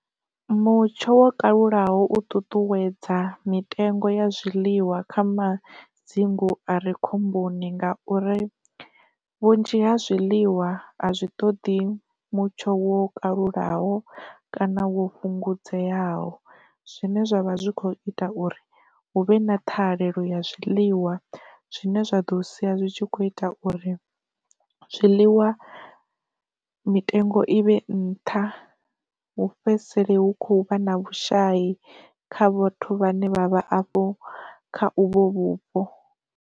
Mutsho wo kalulaho u ṱuṱuwedza mitengo ya zwiḽiwa kha madzingu are khomboni ngauri, vhunzhi ha zwiḽiwa a zwi ṱoḓi mutsho wo kalulaho kana wo fhungudzeaho, zwine zwavha zwi kho ita uri hu vhe na thahelelo ya zwiliwa zwine zwa ḓo sia zwitshi kho ita uri zwiḽiwa mitengo i vhe nṱha hu fhedzisele hu khou vha na vhushayi kha vhathu vhane vhavha hafhu kha uvho vhupo.